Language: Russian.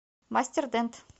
мастер дент